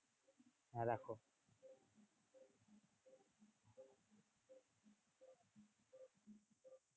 হ্যাঁ রাখো।